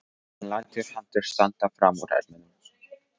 Hann lætur hendur standa fram úr ermum.